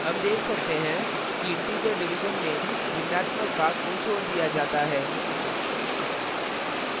हम देख सकते हैं कि integer division में भिन्नात्मक भाग को छोड़ दिया जाता है